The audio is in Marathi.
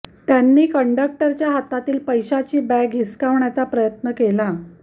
त्यांनी कंडक्टरच्या हातातली पैशाची बॅग हिसकण्याचा प्रयत्न केला